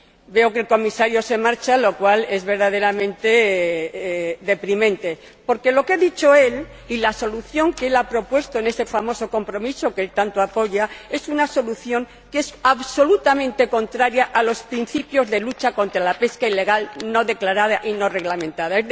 Veo que el Comisario se marcha, lo cual es verdaderamente deprimente, porque lo que ha dicho él y la solución que ha propuesto en este famoso compromiso que tanto apoya es una solución que es absolutamente contraria a los principios de lucha contra la pesca ilegal, no declarada y no reglamentada